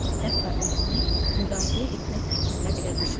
Hətta özünü müdafiə etmək fikrinə belə düşmədi.